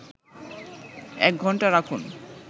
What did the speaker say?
১ ঘন্টা রাখুন